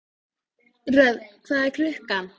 Röfn, hvað er klukkan?